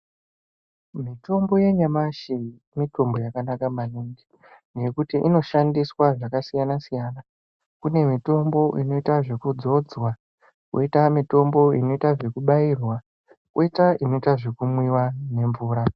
Mitombo yanyamashi mitombo yakanaka mainingi ngekuti inoshandiswa zvakasiyana siyana kune mitombo inoita zvekudzodzwa koita mitombo inoita zvekubairwa koita inoita zvekumwiwa nemvura.